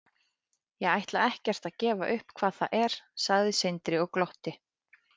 Ég ætla ekkert að gefa upp hvað það er, sagði Sindri og glotti.